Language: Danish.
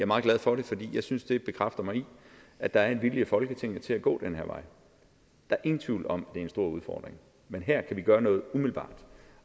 meget glad for det fordi jeg synes det bekræfter mig i at der er en vilje i folketinget til at gå den her vej der er ingen tvivl om det en stor udfordring men her kan vi gøre noget umiddelbart og